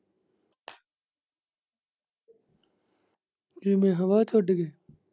ਕਿਵੇਂ ਹਵਾ ਚ ਉੱਡਗੇ।